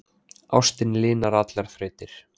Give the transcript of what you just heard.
Ástin linar allar þrautir